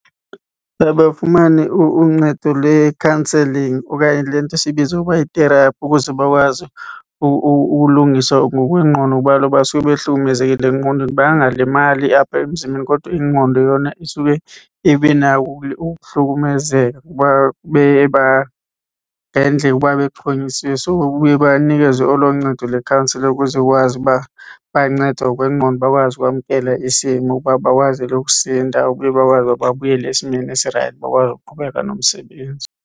Uba bafumane uncedo lwe-counselling okanye le nto siyibiza ukuba yi-therapy ukuze bakwazi ulungiswa ngokwengqondo kuba kaloku basuke behlukumezekile engqondweni. Bangangalimali apha emzimbeni kodwa ingqondo yona isuke ibe nako uhlukumezeka kuba uba bexhonyisiwe. So baye banikezwe olo ncedo lwe-counsellour ukuze kwazi uba bayancedwa ngokwengqondo bakwazi ukwamkela isimo ukuba bakwazile ukusinda, babuye bakwazi uba babuyele esimeni esirayithi bakwazi ukuqhubeka nomsebenzi.